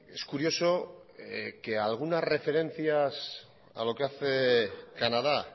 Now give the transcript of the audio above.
es curioso que algunas referencias a lo que hace canadá